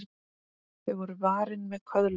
Þau voru varin með köðlum.